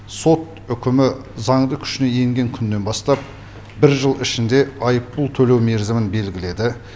сот үкімі заңды күшіне енген күннен бастап бір жыл ішінде айыппұл төлеу мерзімін белгіледі